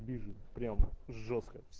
бежит прямо жёстко